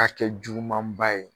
A kɛ jugumanba ye